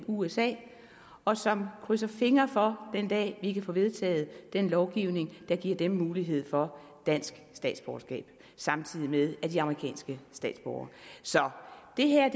usa og som krydser fingre for den dag vi kan få vedtaget den lovgivning der giver dem mulighed for dansk statsborgerskab samtidig med at de er amerikanske statsborgere så det her